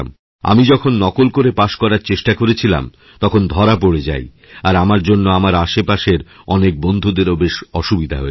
আমি যখন নকল করে পাশ করার চেষ্টা করেছিলাম তখনধরা পড়ে যাই আর আমার জন্য আমার আশেপাশের অনেক বন্ধুদেরও বেশ অসুবিধা হয়েছিল